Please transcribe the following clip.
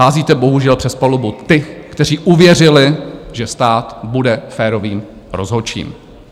Házíte bohužel přes palubu ty, kteří uvěřili, že stát bude férovým rozhodčím.